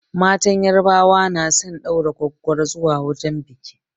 Matan yarbawa na son ɗaura gwaggwaro zuwa wajen biƙi